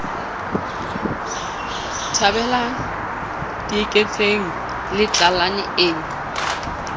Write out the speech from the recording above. thabela dieketseng le tlalane e